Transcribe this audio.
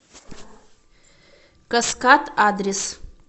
каскад адрес